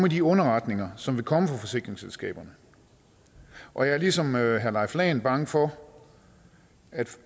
i de underretninger som vil komme fra forsikringsselskaberne og jeg er ligesom herre leif lahn jensen bange for